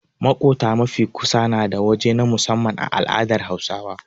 Maƙota mafi kusa nada waje na musamman a al'adar Hausawa.